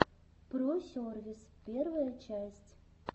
про сервис первая часть